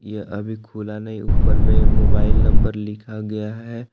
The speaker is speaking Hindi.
यह अभी खुला नहीं है ऊपर में मोबाइल नंबर लिखा गया है।